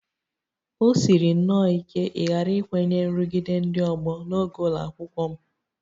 O siri nnọọ ike ịghara ikwenye nrụgide ndị ọgbọ n'oge ụlọ akwụkwọ m